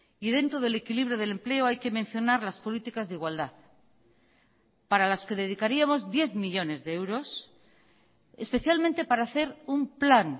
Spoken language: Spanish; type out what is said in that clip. y dentro del equilibrio del empleo hay que mencionar las políticas de igualdad para las que dedicaríamos diez millónes de euros especialmente para hacer un plan